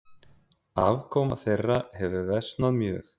Afkoma þeirra hefur versnað mjög.